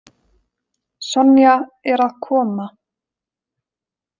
Sonja er að koma.